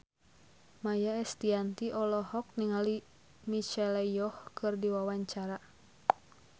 Maia Estianty olohok ningali Michelle Yeoh keur diwawancara